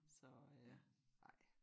Så øh ja ej